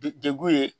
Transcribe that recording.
De degun ye